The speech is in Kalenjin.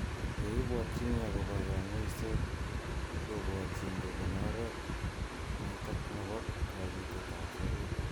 Ye ibwatchin agobo kang�uiset kobwatchin kobun oret netok nebo kachutet ab serut.